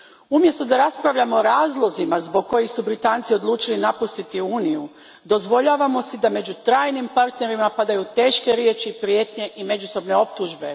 Umjesto da raspravljamo o razlozima zbog kojih su Britanci odlučili napustiti Uniju, dozvoljavamo si da među trajnim partnerima padaju teške riječi, prijetnje i međusobne optužbe.